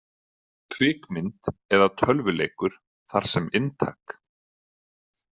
Kvikmynd eða tölvuleikur þar sem inntak.